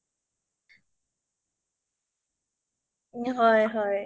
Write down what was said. তো মানে ভাষাৰে ক'ব নোৱাৰিম আৰু অভিজ্ঞতা তো